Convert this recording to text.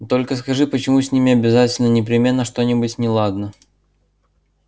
только скажи почему с ними обязательно непременно что-нибудь неладно